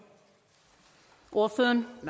ordføreren